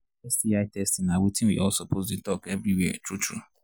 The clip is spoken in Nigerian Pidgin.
sti testing na watin we all suppose they talk everywhere true true